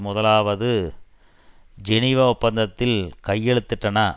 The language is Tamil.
முதலாவது ஜெனீவா ஒப்பந்தத்தில் கையெழுத்திட்டன